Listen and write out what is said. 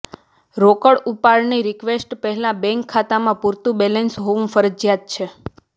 રોકડ ઉપાડની રિકવેસ્ટ પહેલાં બેંક ખાતામાં પૂરતું બેલેન્સ હોવું ફરજિયાત છે